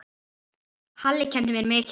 Halli kenndi mér mikið.